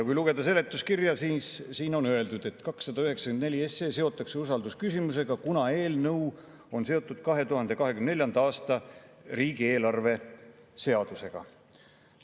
Kui lugeda seletuskirja, siis siin on öeldud, et 294 seotakse usaldusküsimusega, kuna eelnõu on seotud 2024. aasta riigieelarve seadusega.